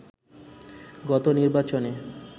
গত নির্বাচনে